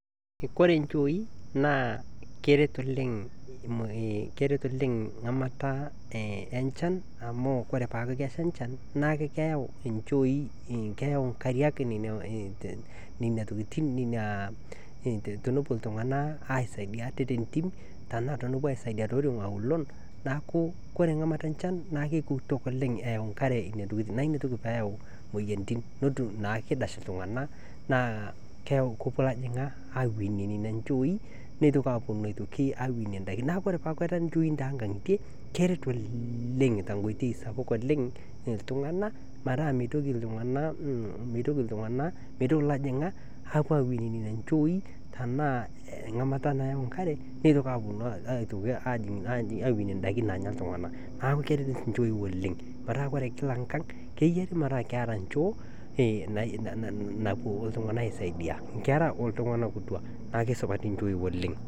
Ore nchoi naa keret oleng ramata enchan amu ore peaku kesha enchan neaku keyau nkariak nena tokitin tenepuo iltunganak aisaidia ate tentim netum naa shida iltunganak, niaku ore tenesheti inchoi toonkangitie naa keret oleng metaa meitoki iltunganak apuo atum ilajingak nemitoki aponu ajing ndaiki naya iltunganak , neku keret nchoi oleng .